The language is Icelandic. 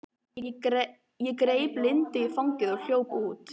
Ég greip Lindu í fangið og hljóp út.